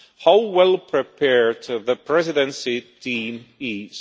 how well prepared the Presidency team is.